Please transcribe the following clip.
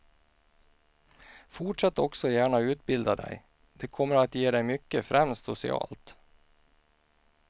Fortsätt också gärna utbilda dig, det kommer att ge dig mycket främst socialt.